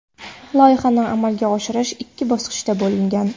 Loyihani amalga oshirish ikki bosqichga bo‘lingan.